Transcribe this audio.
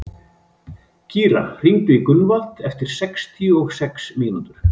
Kíra, hringdu í Gunnvald eftir sextíu og sex mínútur.